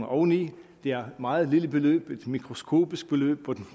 oveni det er et meget lille beløb et mikroskopisk beløb på